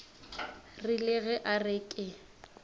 rile ge a re ke